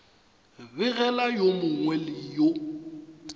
begela yo mongwe le yo